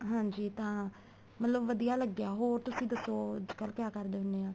ਹਾਂਜੀ ਤਾਂ ਮਤਲਬ ਵਧੀਆ ਲੱਗਿਆ ਹੋਰ ਤੁਸੀਂ ਦੱਸੋ ਅੱਜਕਲ ਕਿਆ ਕਰਦੇ ਹੁੰਦੇ ਹੋ